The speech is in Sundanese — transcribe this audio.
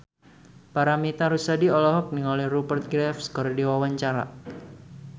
Paramitha Rusady olohok ningali Rupert Graves keur diwawancara